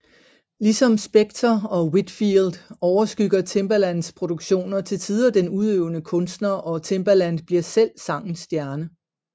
Ligesom Spector og Whitfield overskygger Timbalands produktioner til tider den udøvende kunstner og Timbaland bliver selv sangens stjerne